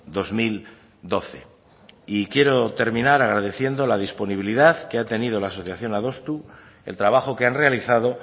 dos mil doce y quiero terminar agradeciendo la disponibilidad que ha tenido la asociación adostu el trabajo que han realizado